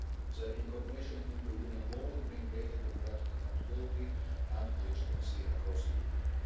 Their incorporation into Union law would bring greater democratic accountability and legitimacy across the Union.